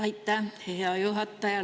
Aitäh, hea juhataja!